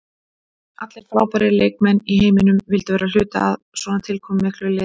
Allir frábærir leikmenn í heiminum vildu vera hluti af svona tilkomumiklu liði.